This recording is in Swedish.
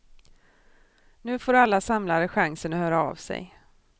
Nu får alla samlare chansen att höra av sig.